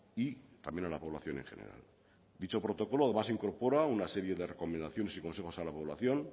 y también a la población en general dicho protocolo además incorpora una serie de recomendaciones y consejos a la población